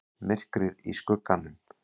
MYRKRIÐ Í SKUGGANUM